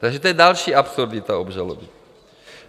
Takže to je další absurdita obžaloby.